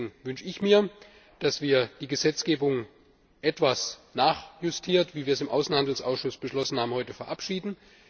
Deswegen wünsche ich mir, dass wir die Gesetzgebung etwas nachjustiert wie wir es im Außenhandelsausschuss heute beschlossen haben verabschieden.